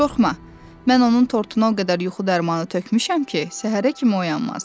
"Qorxma, mən onun tortuna o qədər yuxu dərmanı tökmüşəm ki, səhərə kimi oyanmaz".